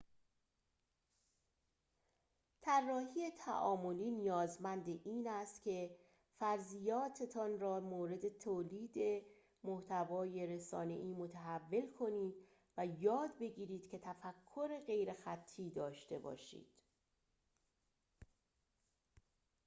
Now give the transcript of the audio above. طراحی تعاملی نیازمند این است که فرضیاتتان را در مورد تولید محتوای رسانه‌ای متحول کنید و یاد بگیرید که تفکر غیرخطی داشته باشید